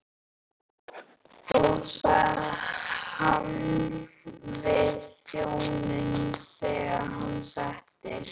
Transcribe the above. sagði hann við þjóninn þegar hann settist.